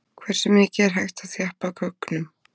Hversu mikið er hægt að þjappa gögnum?